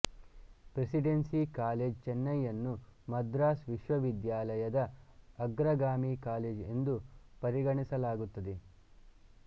presidency College ಚೆನ್ನೈಯನ್ನು ಮದ್ರಾಸ್ ವಿಶ್ವವಿದ್ಯಾಲಯದ ಅಗ್ರಗಾಮಿ ಕಾಲೆಜ್ ಎಂದು ಪರಿಗಣಿಸಲಾಗುತ್ತದೆ